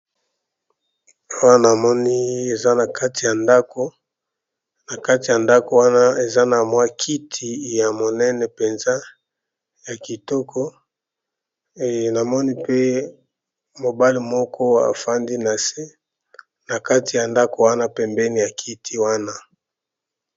Awa namoni eza nakati ya ndako nakati ya ndako wana eza na mwa kiti ya monene penza ya kitoko namoni pe mobali moko afandi nase nakati ya ndako pembeni ya kiti wana